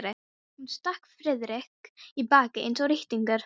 Hún stakk Friðrik í bakið eins og rýtingur.